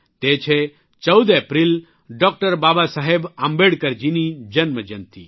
તે છે 14 April doctor Babasaheb આંબેડકરજીની જન્મજયંતિ